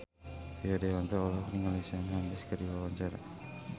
Rio Dewanto olohok ningali Shawn Mendes keur diwawancara